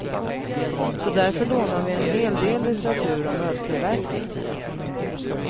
Så därför lånade vi en hel del litteratur om öltillverkning.